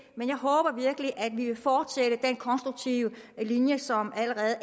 men jeg håber virkelig at vi kan fortsætte den konstruktive linje som allerede